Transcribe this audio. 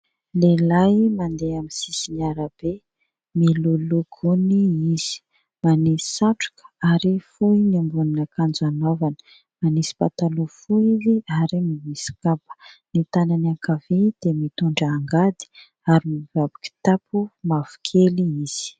Lehilahy mandeha amin'ny sisin'ny arabe, miloloha fony izy, manisy satroka ary fohy ny ambonin'ankanjo anaovany. Manisy pataloha fohy izy ary manisy kapa. Ny tanany ankavia dia mitondra angady ary mibaby kitapo mavokely izy.